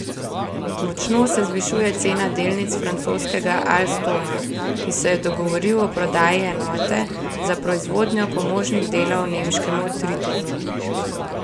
Močno se zvišuje cena delnic francoskega Alstoma, ki se je dogovoril o prodaji enote za proizvodnjo pomožnih delov nemškemu Tritonu.